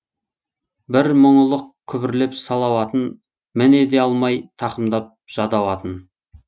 бір мұңылық күбірлеп салауатын міне де алмай тақымдап жадауатын